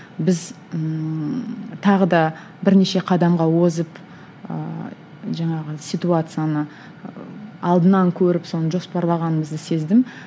біз ммм тағы да бірнеше қадамға озып ыыы жаңағы ситуацияны алдынан көріп соны жоспарлағанымызды сездім